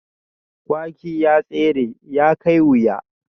Kwaki ya tare, ya kai wuya